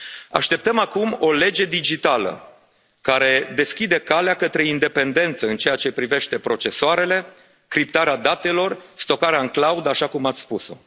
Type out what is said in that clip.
Așteptăm acum o lege digitală care deschide calea către independență în ceea ce privește procesoarele, criptarea datelor, stocarea în cloud, așa cum ați spus o.